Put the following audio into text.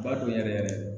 B'a dɔn yɛrɛ yɛrɛ